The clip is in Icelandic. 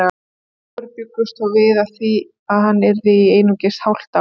Fáir bjuggust þó við því að hann yrði þar í einungis hálft ár.